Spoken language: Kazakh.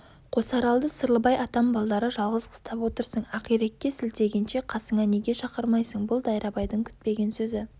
қосаралды сырлыбай атам балдары жалғыз қыстап отырсың ақирекке сілтегенше қасыңа неге шақырмайсың бұл дайрабайдың күтпеген сөзі